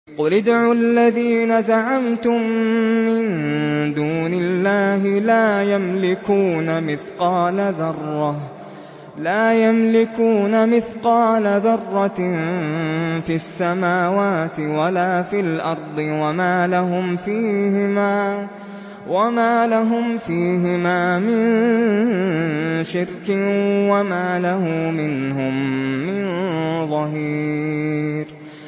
قُلِ ادْعُوا الَّذِينَ زَعَمْتُم مِّن دُونِ اللَّهِ ۖ لَا يَمْلِكُونَ مِثْقَالَ ذَرَّةٍ فِي السَّمَاوَاتِ وَلَا فِي الْأَرْضِ وَمَا لَهُمْ فِيهِمَا مِن شِرْكٍ وَمَا لَهُ مِنْهُم مِّن ظَهِيرٍ